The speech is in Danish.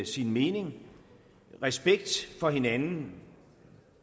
sin mening respekt for hinanden